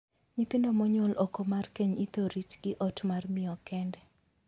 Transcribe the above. Nyithindo monyuol oko mar keny ithor riti gi ot mar miyo kende.